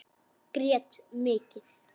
Grét mikið.